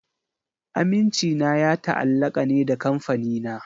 Amincina ya ta'allaka ne da Kamfanina.